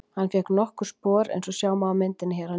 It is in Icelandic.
Hann fékk nokkur spor eins og sjá má á myndinni hér að neðan.